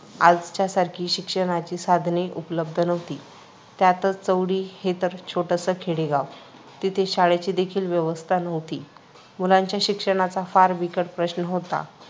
आजच्यासारखी शिक्षणाची साधने उपलब्ध नव्हती. त्यातच चौंडी हे तर छोटंसं खेडेगाव. तिथे शाळेची देखील व्यवस्था नव्हती. मुलांच्या शिक्षणाचा फार बिकट प्रश्न होता.